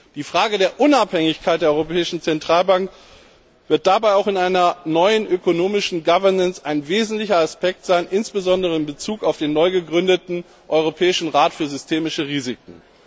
Die Frage der Unabhängigkeit der Europäischen Zentralbank wird dabei auch in einer neuen ökonomischen Governance ein wesentlicher Aspekt sein, insbesondere in Bezug auf den neu gegründeten Europäischen Rat für systemische Risiken.